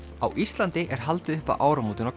á Íslandi er haldið upp á áramótin á